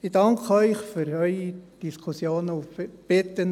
Ich danke Ihnen für Ihre Diskussionen und bitte Sie,